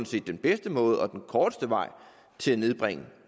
set den bedste måde og korteste vej til at nedbringe